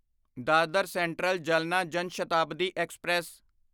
Dadar Central Jalna Jan Shatabdi express